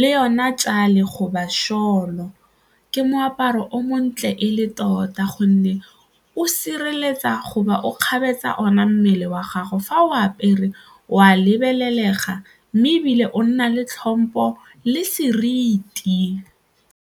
le yona tšale goba ke moaparo o montle e le tota ka gonne o sireletsa goba o kgabetsa ona mmele wa gago fa o apere o a lebelelega mme ebile o nna le tlhompho le seriti.